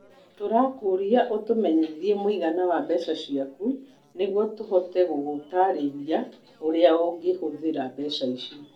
Tũrakũria ũtũmenyithie mũigana wa mbeca ciaku nĩguo tũhote gũgũtaarĩria ũrĩa ũngĩhũthĩra mbeca icio.